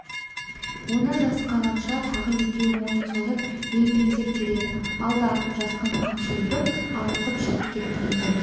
оны жасқағанша тағы екеуі мойнын созып емпеңдеп келеді алды-артын жасқан қамшы үйіріп ауытқып шығып кетті мұндай